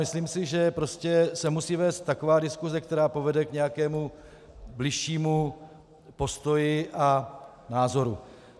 Myslím si, že se musí vést taková diskuse, která povede k nějakému bližšímu postoji a názoru.